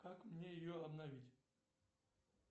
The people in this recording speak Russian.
как мне ее обновить